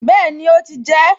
Bẹ́ẹ̀ni, ó ti jẹ ẹ́